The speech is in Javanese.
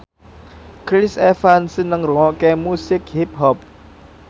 Chris Evans seneng ngrungokne musik hip hop